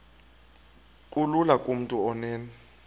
kulula kumntu onen